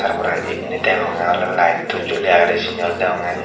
tar pore indi degonge ole light juli agede sini ole degonge.